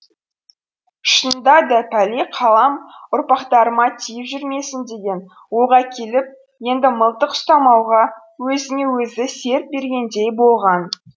шынында да пәле қалам ұрпақтарыма тиіп жүрмесін деген ойға кетіп енді мылтық ұстамауға өзіне өзі серт бергендей болған